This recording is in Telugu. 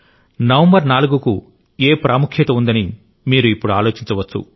నవంబర్ 4 కు ఏ ప్రాముఖ్యత ఉందని మీరు ఇప్పుడు ఆలోచించవచ్చు